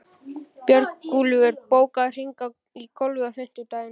Björgúlfur, bókaðu hring í golf á fimmtudaginn.